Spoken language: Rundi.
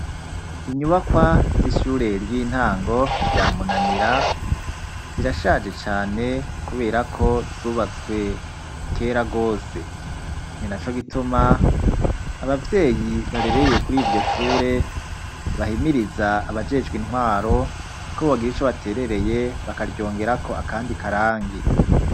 Inyubakwa z'ishure ry'intango rya munanira zirashaje cane kubera ko zubatswe kera gose, ninaco gituma abavyeyi barereye kuriryo shure bahimiriza abajejwe intwaro ko bogira ico baterereye bakaryongerako akandi karangi.